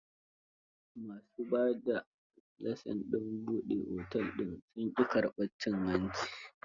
Ma su ba da lasin ɗin buɗe otel din sun ƙi karbar cin hanci.